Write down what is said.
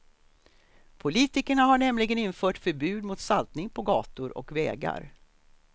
Politikerna har nämligen infört förbud mot saltning på gator och vägar.